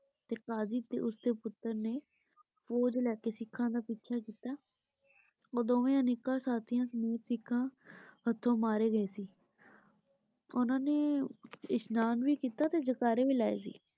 ਤੇ ਕਾਜ਼ੀ ਤੇ ਉਸਦੇ ਪੁੱਤਰ ਨੇ ਫੌਜ ਲੈ ਕੇ ਸਿੱਖਾਂ ਦਾ ਪਿੱਛਾ ਕੀਤਾ। ਉਹ ਦੋਵੇ ਅਨੇਕਾਂ ਸਾਥੀਆਂ ਸਮੇਤ ਸਿੱਖਾਂ ਹੱਥੋਂ ਮਾਰੇ ਗਏ ਸੀ ਉਨ੍ਹਾਂ ਨੇ ਇਸ਼ਨਾਨ ਵੀ ਕੀਤਾ ਤੇ ਜੈ ਕਾਰੇ ਵੀ ਲਾਏ ਸੀ ।